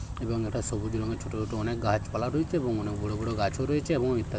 এবং এটা সবুজ রঙের ছোট ছোট অনেক গাছপালা রয়েছে এবং অনেক বড় বড় গাছও রয়েছে এবং ইত্যা --